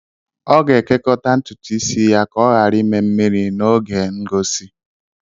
Ọ ga-ekekọta ntutu isi ya ka ọ ghara ime mmiri n'oge ngosi